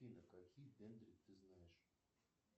афина какие дендри ты знаешь